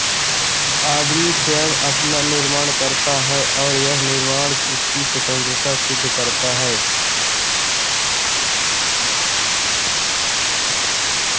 आदमी स्वयं अपना निर्माण करता है और यह निर्माण उसकी स्वतंत्रता सिद्ध करता है